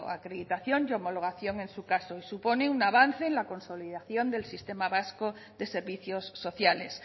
acreditación y homologación en su caso y supone un avance en la consolidación del sistema vasco de servicios sociales